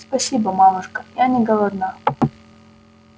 спасибо мамушка я не голодна